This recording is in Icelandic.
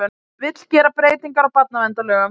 Vill gera breytingar á barnaverndarlögum